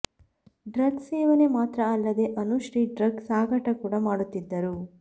drug ಸೇವನೆ ಮಾತ್ರ ಅಲ್ಲದೇ ಅನುಶ್ರೀ ಡ್ರಗ್ ಸಾಗಾಟ ಕೂಡ ಮಾಡುತ್ತಿದ್ದರು